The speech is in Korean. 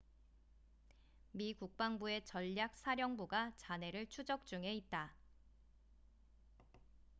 미 국방부의 전략사령부가 잔해를 추적 중에 있다